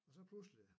Og så pludselig